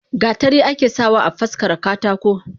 Gatari ake sa wa afaskara katako.